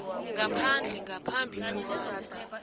ngaphandle ngaphambi kobana